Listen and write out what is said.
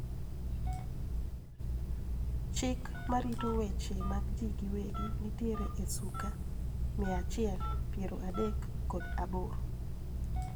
Chik marito weche mag jii giwegi nitiere e suka mia achiel piero adek kod aboro